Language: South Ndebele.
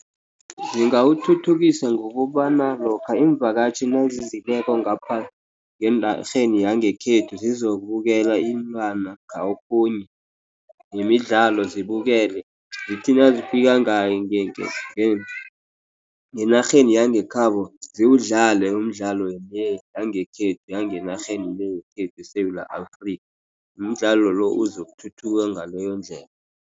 Zingawuthuthukisa ngokobana lokha iimvakatjhi nazizileko ngapha, ngenarheni yangekhethu sizokubukela iinlwana kokhunye yemidlalo zibukele. Zithi nazifika ngale ngenarheni yangekhabo, ziwudlale umdlalo le, yangenarheni yekhethu eSewula Afrika, umdlalo lo, uzokuthuthuka ngaleyondlela.